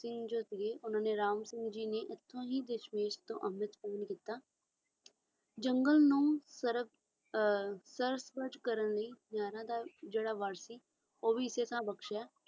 ਧਰਮ ਸਿੰਘ ਨੇ ਰਾਮ ਸਿੰਘ ਜੀ ਨੇ ਇੱਥੋਂ ਹੀ ਦੇਸ਼ ਵਿਦੇਸ਼ ਤੋਂ ਅੰਮ੍ਰਿਤ ਕਵਿਤਾ ਜੰਗਲ ਨੂੰ ਸਵਰਗ ਕਰਨ ਲਈ ਜਿਹੜਾ ਸੀ ਉਹ ਅੰਨ੍ਹੇ ਤੇ ਬਖਸ਼ਿਆ